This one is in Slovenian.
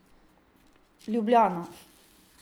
Ljubljana.